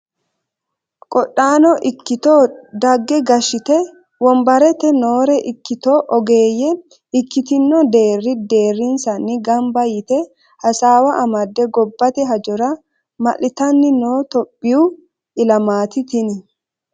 Qodhano ikkitto daga gashshite wombarete noore ikkitto ogeeyye ikkitto deeri deerinsanni gamba yte hasaawa amade gobbate hajora malittanni no tophiyu ilamati tini.